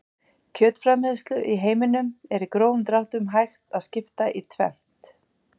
Kjötframleiðslu í heiminum er í grófum dráttum hægt að skipta í tvennt.